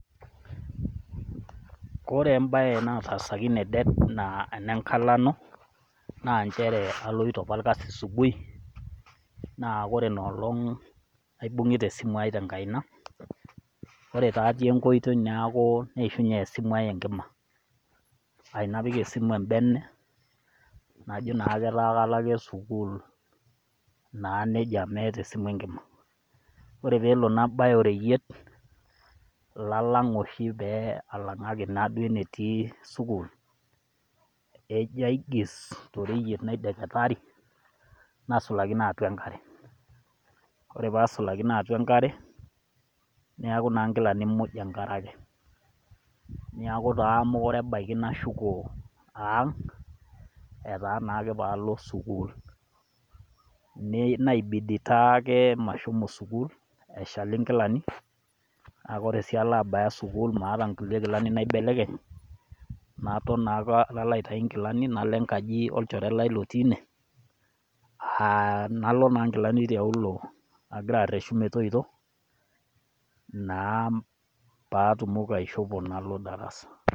Kore embae naitaasaki ene det naa ene nkalano, naa nchere aloito opa olkasi asibuhi, naa ore ina olong' aibung'ita esimu aai te enkaina, kore taa atii enkoitoi neishunye esimu aai enkima, aa napik embene najo etaa ake kalo sukuul naa neija naa meata esimu enkima, kore palo nabaya oreiyet labaya oshi pee alang'aki enetii sukuul, ejo aigis naishirtitaari, naigis nasulakino atua enkare, ore pee asulakino atua enkare nasulakino atua enkare, neaku naa inkilani muj enkare ake neku taa mekure ashuko aang' etaa naake paalo sukuul, neibidi taake mashomo sukuul eshal inkilani, naa ore sii alo abaya sukuul nemeata kulie kilani naibelekeny, naton naa opa nalo enkaji olchore lai otii ine, nalo naa inkilani teine aanyu inkilani metoito naa paa atumoki aishopo nalo Aikumok imasaa naningieki masaa esiai enturore na kaidim atejo ore esimu ino anaa laptop ino teniata na ekisaidia toningo laduo omon tenturore amu ore enedukuya teniata enasimu ino sapuk, naindim ake I aidaonlooda ninche nai likiliki lolomon lesiai lenturore ata te laptop na indim akesininye atipika nona apps indim ashomo ainoto laduo omon lenturore nitoki aaku ore kulo omon oshi epiki oshi nkiteshenini olomon aa kepuo nepuo alimu ltung'anak enjurore tesiai eremore neponu aliki olorere ajo kanyio naloito dukuya tenining nona kiteshenini olomon atifi tanaa rendio darasa.